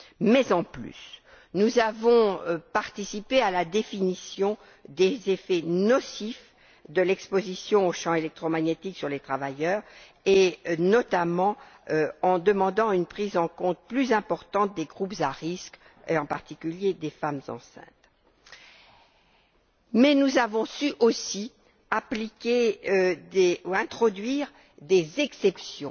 Par ailleurs, nous avons participé à la définition des effets nocifs de l'exposition aux champs électromagnétiques sur les travailleurs, notamment en demandant une prise en compte plus importante des groupes à risques et, en particulier, des femmes enceintes. Nous avons su aussi introduire des exceptions,